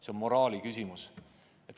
See on moraali küsimus.